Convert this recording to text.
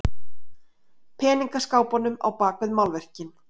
Peningaskápunum á bak við málverkin.